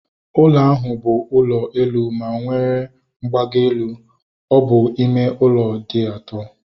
Ụlọ ahụ bụ ụlọ elu ma onwere mgbago elu. Ọ bụ ime ụlọ dị ato